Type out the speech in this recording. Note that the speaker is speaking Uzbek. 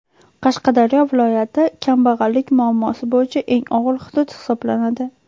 Qashqadaryo viloyati kambag‘allik muammosi bo‘yicha eng og‘ir hudud hisoblanadi.